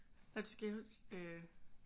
Nej du skal jo helst øh